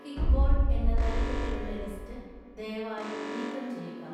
kickball എന്ന തലക്കെട്ടിലുള്ള list ദയവായി നീക്കം ചെയ്യുക